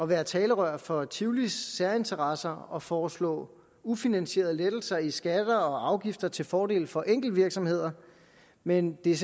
være talerør for tivolis særinteresser og foreslå ufinansierede lettelser i skatter og afgifter til fordel for enkeltvirksomheder men det er